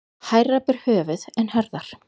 Hærra ber höfuð en herðar.